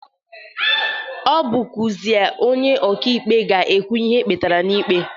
Ọbụkwụazị onye ọka ikpe a ga-ekwu ihe ekpetara n'ikpe.